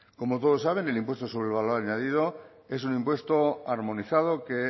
como todos saben el impuestos sobre el valor añadido es un impuesto armonizado que